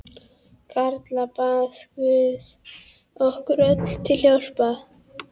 Karla bað guð okkur öllum til hjálpar.